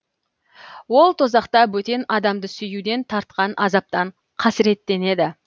ол тозақта бөтен адамды сүюден тартқан азаптан қасіреттенді